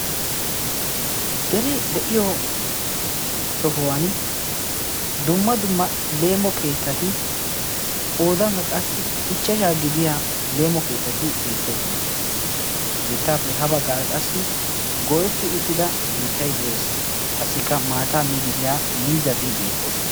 dere de'iyo sohuwan dumma dumma leemo keettati qoodankka qassi ichchashaa gidiya leemo keettati beettoosona he keettaappe ha baggaara qassi goyetti uttida biittay de'ees qassikka maataa miididiyaa miizati beettoosona